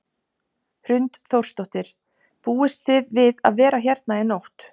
Hrund Þórsdóttir: Búist þið við að vera hérna í nótt?